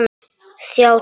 Sjá texta.